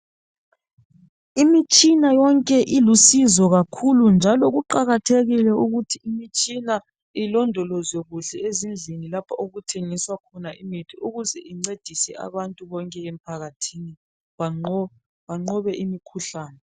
Imitshina yonke ilusizo kakhulu njalo kuqakathekile ukuthi imitshina ilondolozwe kuhle ezindlini lapho okuthengiswa khona imithi ukuze incedise abantu bonke emphakathini banqobe, banqobe imikhuhlane.